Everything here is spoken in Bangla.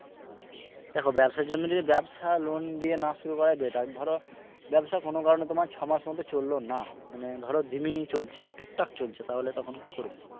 দেখো ব্যবসার জন্য যদি ব্যবসা loan দিয়ে না শুরু করাটাই better ধর ব্যবসা কোন কারনে তোমার ছ মাস মত চলল না মানে ধরো জিমে চলছে টুকটাক চলছে তাহলে তখন কি করবে?